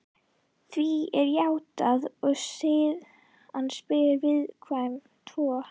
Því er játað og síðan spyr viðmælandinn: Tvo?